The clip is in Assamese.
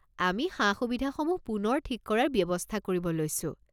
আমি সা সুবিধাসমূহ পুনৰ ঠিক কৰাৰ ব্যৱস্থা কৰিব লৈছোঁ।